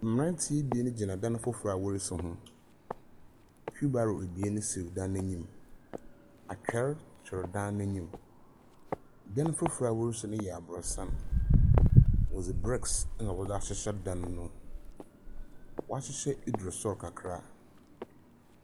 Mberantse ebien gyina dan fofor a worisi ho, wheelbarrow ebien si dan no enyim, atwer twer dan no enyim. Dan fofor a wɔresi no yɛ aborɔsan, wɔdze bricks na wɔdze ahyehyɛ dan no, wɔahyehyɛ edu sor kakra.